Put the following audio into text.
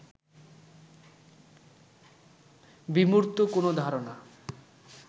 বিমূর্ত কোন ধারণা